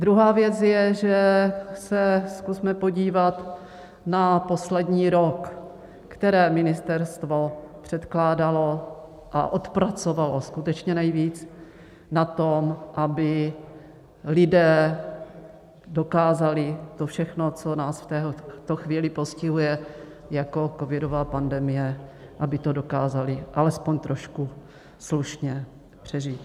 Druhá věc je, že se zkusme podívat na poslední rok, které ministerstvo předkládalo a odpracovalo skutečně nejvíc na tom, aby lidé dokázali to všechno, co nás v této chvíli postihuje jako covidová pandemie, aby to dokázali alespoň trošku slušně přežít.